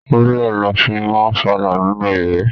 Rúlà la fi máa ń falà nínú ìwé.